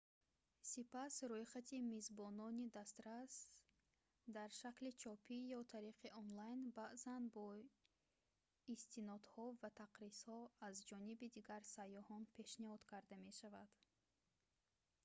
сипас рӯйхати мизбонони дастрас дар шакли чопӣ ё тариқи онлайн баъзан бо истинодҳо ва тақризҳо аз ҷониби дигар сайёҳон пешниҳод карда мешавад